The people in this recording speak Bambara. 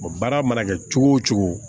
baara mana kɛ cogo o cogo